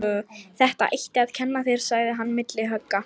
Þetta. ætti. að. kenna. þér. sagði hann milli högga.